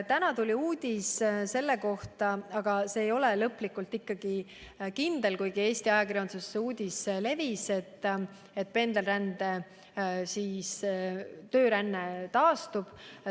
Täna tuli uudis, see ei ole küll veel lõplikult kindel, et pendelränne, tööränne taastub.